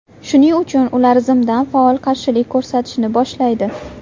Shuning uchun ular zimdan faol qarshilik ko‘rsatishni boshlaydi.